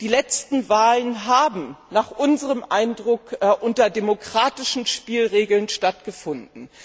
Die letzten Wahlen haben nach unserem Eindruck nach demokratischen Spielregeln stattgefunden.